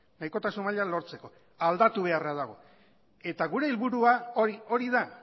nahikotasun maila lortzeko aldatu beharra dago eta gure helburua hori da